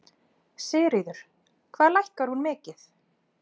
Sigríður: Hvað lækkar hún mikið?